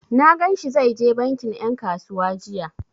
Na gan shi zai je bankin ƴan kasuwa jiya.